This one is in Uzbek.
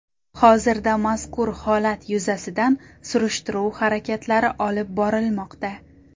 Hozirda mazkur holat yuzasidan surishtiruv harakatlari olib borilmoqda.